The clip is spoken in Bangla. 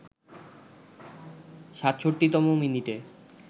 ৬৭তম মিনিটে